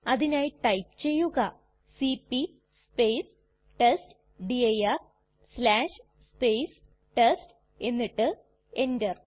അതിനായി ടൈപ്പ് ചെയ്യുക cp test dir test എന്നിട്ട് എന്റർ